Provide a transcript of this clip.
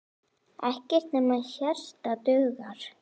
Ekkert nema hjarta dugar.